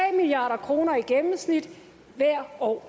milliard kroner i gennemsnit hvert år